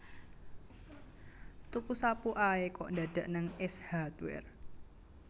Tuku sapu ae kok dadak nang Ace Hardware